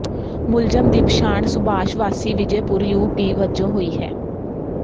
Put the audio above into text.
ਮੁਲਜ਼ਮ ਦੀ ਪਛਾਣ ਸੁਭਾਸ਼ ਵਾਸੀ ਵਿਜੇਪੁਰ ਯੂ ਪੀ ਵਜੋਂ ਹੋਈ ਹੈ